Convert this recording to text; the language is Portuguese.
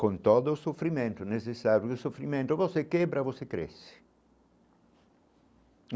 Com todo o sofrimento necessário do sofrimento, você quebra, você cresce.